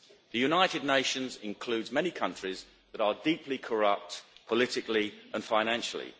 The United Nations includes many countries that are deeply corrupt, politically and financially.